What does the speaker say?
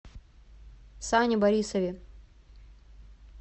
сане борисове